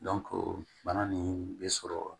bana nin be sɔrɔ